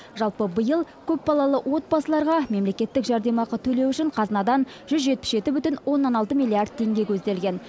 жалпы биыл көпбалалы отбасыларға мемлекеттік жәрдемақы төлеу үшін қазынадан жүз жетпіс жеті бүтін оннан алты миллиард теңге көзделген